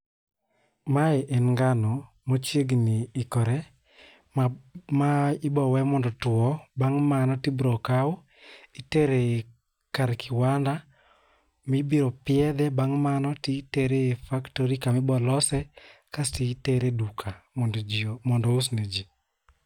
Mae en ngano machiegni ikore ma ma ibo we mondo otwo .Bang' mano tibro kawu itere kar kiwanda mibro piedhe, bang' mano tibro tere e factory kamibo lose kasti tere e duka mondo jii mondo ous ne jii.